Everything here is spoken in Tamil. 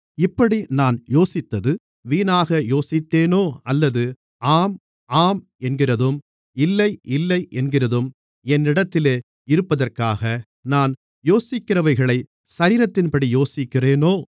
இப்படி நான் யோசித்தது வீணாக யோசித்தேனோ அல்லது ஆம் ஆம் என்கிறதும் இல்லை இல்லை என்கிறதும் என்னிடத்திலே இருப்பதற்காக நான் யோசிக்கிறவைகளை சரீரத்தின்படி யோசிக்கிறேனோ